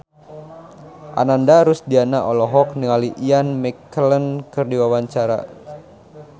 Ananda Rusdiana olohok ningali Ian McKellen keur diwawancara